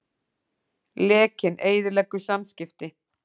Lekinn eyðileggur samskipti